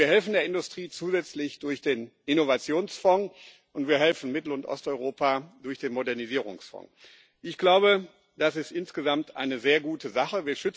Wir helfen der Industrie zusätzlich durch den Innovationsfonds, und wir helfen Mittel und Osteuropa durch den Modernisierungsfonds. Ich glaube, das ist insgesamt eine sehr gute Sache.